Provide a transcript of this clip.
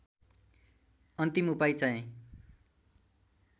अन्तिम उपाए चाहिँ